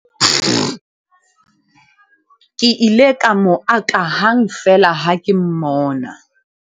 ke ile ka mo aka hang feela ha ke mmona